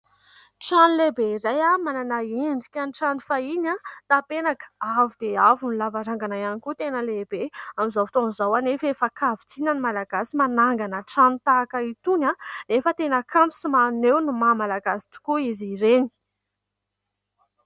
Trano lehibe iray, manana endrika ny trano fahiny. Tapenaka avo dia avo ny, lavarangana ihany koa tena lehibe. Amin'izao fotoana izao anefa efa hakavitsiana ny malagasy manangana trano tahaka itony, anefa tena kanto sy maneho ny maha malagasy tokoa izy ireny.